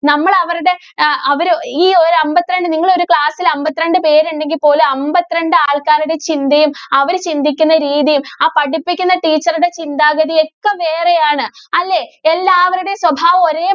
നമ്മള് അവരുടെ അ അവര് ഈ ഒരു അമ്പത്തിരണ്ട് നിങ്ങളൊരു class ല്‍ അമ്പത്തിരണ്ട് പേരുണ്ടെങ്കില്‍ പോലും അമ്പത്തിരണ്ട് ആള്‍ക്കാരുടെ ചിന്തയും, അവര് ചിന്തിക്കുന്ന രീതിയും, ആ പഠിപ്പിക്കുന്ന teacher ടെ ചിന്താഗതിയും ഒക്കെ വേറെയാണ്. അല്ലേ? എല്ലാവരുടെയും സ്വഭാവവും ഒരേ~